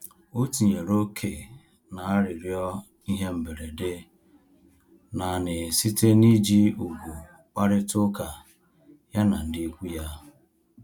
O tinyere ókè na-arịrịọ ihe mberede nanị site na iji ùgwù kparịta uka ya na ndị ịkwụ ya